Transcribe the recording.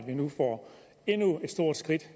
nu får endnu et stort skridt